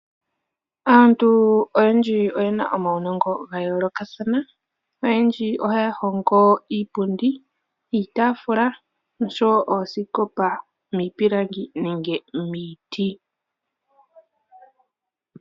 Aantu oyendji oyena uunongo wa yolokathana noyendji ohaya hongo iipundi, iitafula noshowo ooskopa miipilangi nenge miiti.